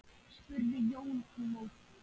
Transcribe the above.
spurði Jón í móti.